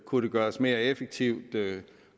kunne det gøres mere effektivt